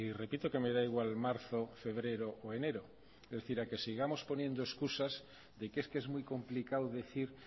repito que me da igual marzo febrero o enero es decir a que sigamos poniendo excusas de que es que es muy complicado decir